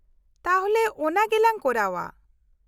- ᱛᱟᱦᱞᱮ ᱚᱱᱟ ᱜᱮ ᱞᱟᱝ ᱠᱚᱨᱟᱣ ᱟ ᱾